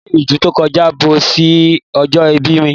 Ọdún ídù to kọjá bọ́ sí ọjọ́ ìbí mi